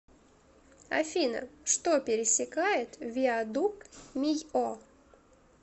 афина что пересекает виадук мийо